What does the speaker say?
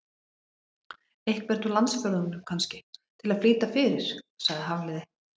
Einhvern úr landsfjórðungnum, kannski, til að flýta fyrir- sagði Hafliði.